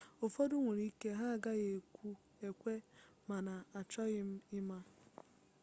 ụfọdụ nwere ike ha agaghị ekwe mana achoghị m ịma